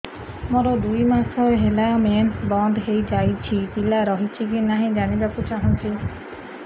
ମୋର ଦୁଇ ମାସ ହେଲା ମେନ୍ସ ବନ୍ଦ ହେଇ ଯାଇଛି ପିଲା ରହିଛି କି ନାହିଁ ଜାଣିବା କୁ ଚାହୁଁଛି